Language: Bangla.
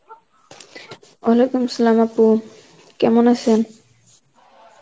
Arbi আপু, কেমন আছেন?